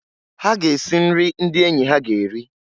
Ha ga-esi nri ndị enyi ha ga eri.